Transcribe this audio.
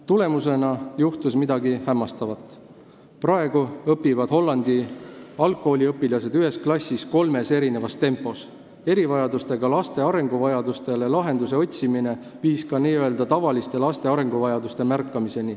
Tulemusena juhtus midagi hämmastavat: praegu õpivad Hollandi algkooliõpilased ühes klassis kolmes tempos, sest erivajadustega laste arenguvajaduste arvestamine tõi kaasa ka n-ö tavaliste laste arenguvajaduste märkamise.